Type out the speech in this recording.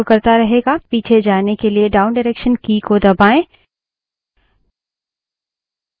पीछे जाने के लिए downडायरेक्सन की दबायें